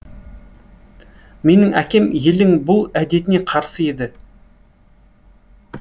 менің әкем елдің бұл әдетіне қарсы еді